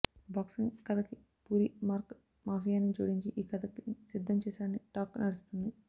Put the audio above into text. boxing కథకి Puri mark మాఫియాని జోడించి ఈ కథని సిద్ధం చేసాడని టాక్ నడుస్తుంది